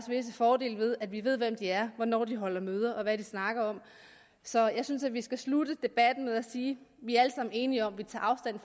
visse fordele ved at vi ved hvem de er hvornår de holder møder og hvad de snakker om så jeg synes at vi skal slutte debatten med at sige vi er alle sammen enige om